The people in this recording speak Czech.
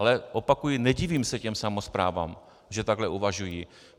Ale opakuji, nedivím se těm samosprávám, že takhle uvažují.